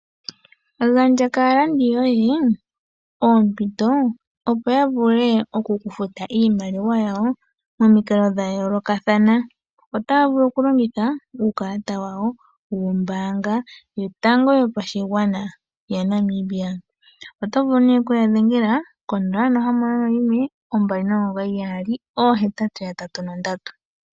Gandja kaalandi yoye oompito, opo ya vule oku ku futa iimaliwa yoye momikalo dha yoolokathana. Otaa vulu okulongitha uukalata wawo wombaanga yotango yopashigwana yaNamibia. Oto vulu okuya dhengela ko 061 299 8883.